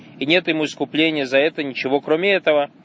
и нет ему искупления за это ничего кроме этого